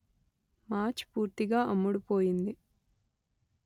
match పూర్తిగా అమ్ముడు పోయింది